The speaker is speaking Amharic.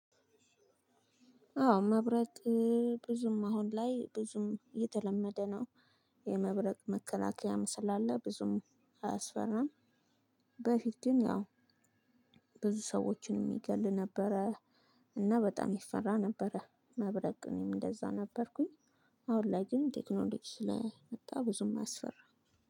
አዎ መብረት ብዙም አሁን ላይ ብዙም የተለመደ ነው። የመብረቅ መከላከያም ስላለ ብዙም አያስፈራም። በፊትም ያው ብዙ ሰዎችን የሚገል ነበረ። እና በጣም ይፈራ ነበረ መብረቅ እኔም እንደዛ ነበርኩኝ። አሁን ላይ ግን ቴክኖሎጂ ስለመጣ ብዙም አያስፈራም